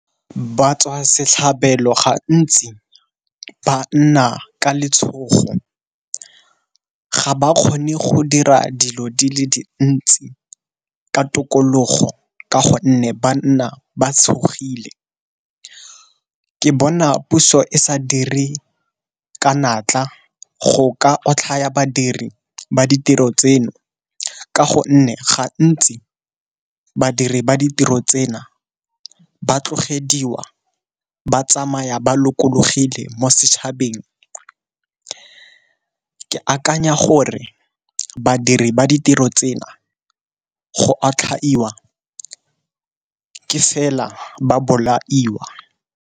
Ba tswa setlhabelo ga ntsi ba nna ka letshogo, ga ba kgone go dira dilo di le dintsi ka tokologo ka gonne ba nna ba tshogile. Ke bona puso e sa dire ka natla go ka otlhaya badiri ba ditiro tseno, ka gonne gantsi badiri ba ditiro tsena ba tlogediwa ba tsamaya ba lokologile mo setšhabeng. Ke akanya gore badiri ba ditiro tsena go otlhaiwa ke fela ba bolaiwa.